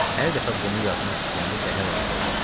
Hər dəfə bunu yazmaq istəyəndə qəhər onu boğmuşdu.